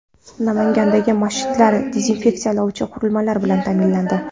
Namangandagi masjidlar dezinfeksiyalovchi qurilmalar bilan ta’minlandi.